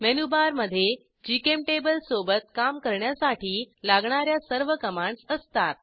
menu bar मधे जीचेम्टेबल सोबत काम करण्यासाठी लागणा या सर्व कमांडस असतात